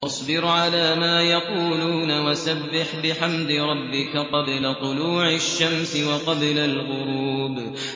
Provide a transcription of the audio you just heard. فَاصْبِرْ عَلَىٰ مَا يَقُولُونَ وَسَبِّحْ بِحَمْدِ رَبِّكَ قَبْلَ طُلُوعِ الشَّمْسِ وَقَبْلَ الْغُرُوبِ